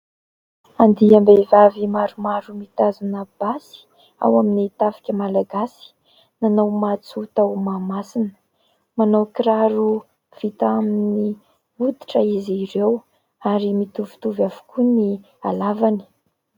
Andiam-behivavy maromaro mitazona basy, ao amin'ny tafika malagasy, nanao matso tao mahamasina, manao kiraro vita amin'ny oditra izy ireo ary mitovitovy avokoa ny alavany.